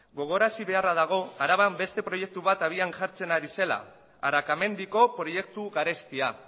gogorarazi beharra dago araban beste proiektu bat abian jartzen ari zela arakamendiko proiektu garestia